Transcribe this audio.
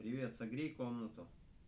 привет согрей комнату